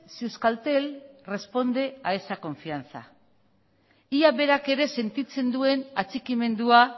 si euskaltel responde a esa confianza ia berak ere sentitzen duen atxikimendua